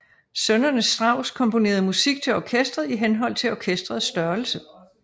Sønnerne Strauss komponerede musik til orkesteret i henhold til orkesterets størrelse